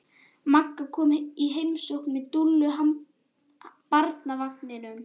Magga kom í heimsókn með Dúllu í barnavagninum.